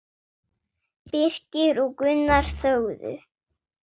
Birkir og Gunnar þögðu.